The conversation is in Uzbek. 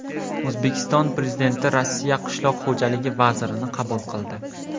O‘zbekiston Prezidenti Rossiya qishloq xo‘jaligi vazirini qabul qildi.